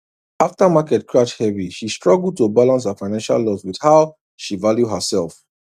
after market crash heavy she struggle to balance her financial loss with how she value herself